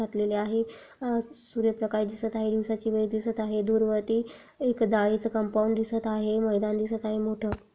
घातलेले आहे आ सूर्य प्रकाश दिसत आहे दिवसाची वेळ दिसत आहे दूरवरती एक जाळीच कंपाऊंड दिसत आहे मैदान दिसत आहे मोठ--